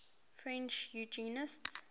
french eugenicists